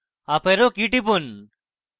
up arrow key টিপুন